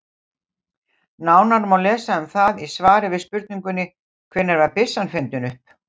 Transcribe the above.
Nánar má lesa um það í svari við spurningunni Hvenær var byssan fundin upp?